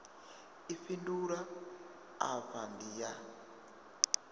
i fhindulwa afha ndi ya